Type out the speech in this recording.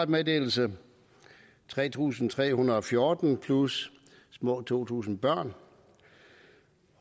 meddelelse tre tusind tre hundrede og fjorten plus små to tusind børn